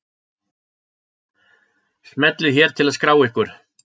Smellið hér til að skrá ykkur.